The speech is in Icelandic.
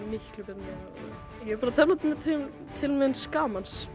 miklu betri ég er bara tefla til gamans